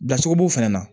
Dacogo b'o fana na